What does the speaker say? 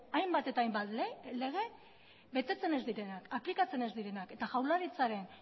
hainbat eta hainbat lege betetzen ez direnak aplikatzen ez direnak eta jaurlaritzaren